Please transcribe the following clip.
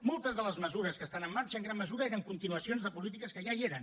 moltes de les mesures que estan en marxa en gran mesura eren continuacions de polítiques que ja hi eren